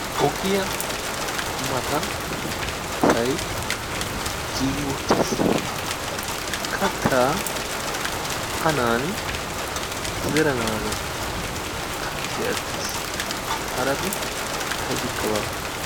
Ogiya matan asay giigi uttiis. Kattaa anaani zeranaagaa kanchvhee attiis. Harabi aybikka baawa.